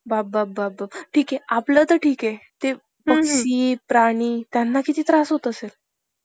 केशवरावांना सारे केसूपंत म्हणत. पत्नी लक्ष्मीबाई यांचं माहेर शेरवलीचे परांजपे. याच घरातले रॅग~ रॅगलर,